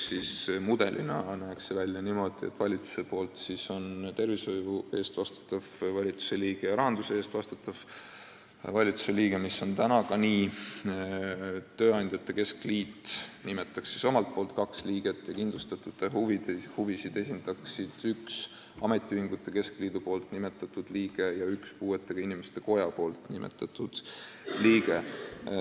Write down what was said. Mudelina oleks see näinud välja niimoodi, et valitsust esindavad tervishoiu eest vastutav valitsusliige ja rahanduse eest vastutav valitsusliige, mis on praegu ka nii, tööandjate keskliit nimetab omalt poolt kaks liiget ja kindlustatute huvisid esindavad üks ametiühingute keskliidu nimetatud liige ja üks puuetega inimeste koja nimetatud liige.